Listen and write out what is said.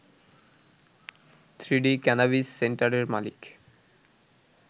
three D cannabis সেন্টারের মালিক